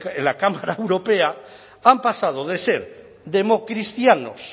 en la cámara europea han pasado de ser democristianos